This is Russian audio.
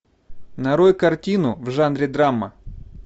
нарой картину в жанре драма